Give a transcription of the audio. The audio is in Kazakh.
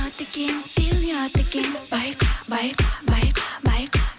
ұят екен деу ұят екен байқа байқа байқа байқа